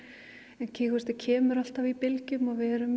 en kemur alltaf í bylgjum og við erum